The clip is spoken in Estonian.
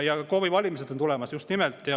Ja KOV-i valimised on tulemas, just nimelt.